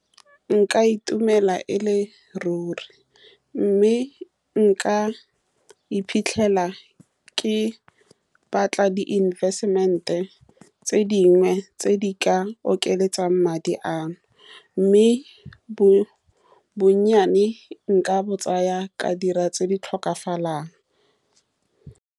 Nka itumela e le ruri, mme nka iphitlhela ke batla di-investment-e tse di dingwe tse di ka oketsang madi ano, mme bo bonnyane, nka bo tsaya ka dira tse di tlhokagalang.